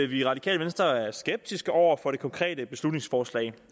vi i radikale venstre er skeptiske over for det konkrete beslutningsforslag